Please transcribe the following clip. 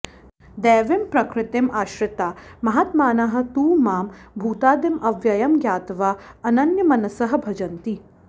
दैवीं प्रकृतिम् आश्रिताः महात्मानः तु मां भूतादिम् अव्ययम् ज्ञात्वा अनन्यमनसः भजन्ति